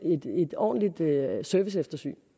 ordentligt serviceeftersyn